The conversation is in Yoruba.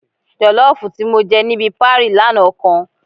Jọ̀lọ́ọ̀fù tí mo jẹ níbi parí lánàá kan